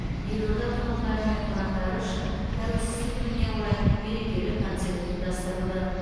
елорда тұрғындары мен қонақтары үшін тәуелсіздік күніне орай мерекелік концерт ұйымдастырылды